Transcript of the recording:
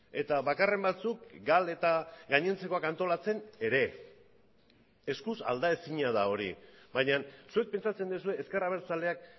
eta bakarren batzuk gal eta gainontzekoak antolatzen ere eskuz aldaezina da hori baina zuek pentsatzen duzue ezker abertzaleak